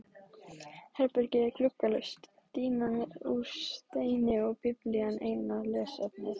Herbergið er gluggalaust, dýnan úr steini og Biblían eina lesefnið.